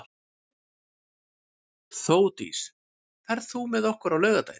Þeódís, ferð þú með okkur á laugardaginn?